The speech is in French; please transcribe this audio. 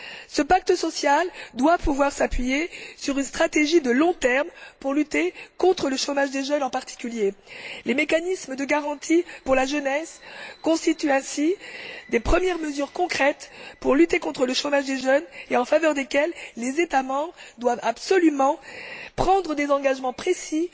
Ce pacte social doit pouvoir s'appuyer sur une stratégie à long terme pour lutter contre le chômage des jeunes en particulier. Les mécanismes de garantie pour la jeunesse constituent ainsi des premières mesures concrètes pour lutter contre le chômage des jeunes, en faveur desquelles les États membres doivent absolument prendre des engagements précis,